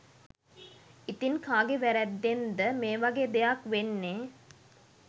ඉතින් කාගෙ වැරැද්දෙන්ද මේ වගේ දෙයක් වෙන්නේ?